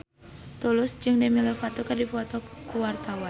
Tulus jeung Demi Lovato keur dipoto ku wartawan